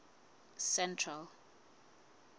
central